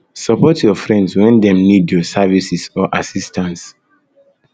support your friends when dem need your services or assistance